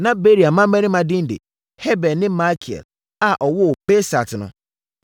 Na Beria mmammarima din de: Heber ne Malkiel a ɔwoo Birsait no.